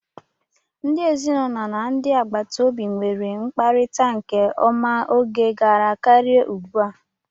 Ndị ezinụlọ na ndị agbataobi nweere mkparita nke ọma oge gara karịa ugbu a.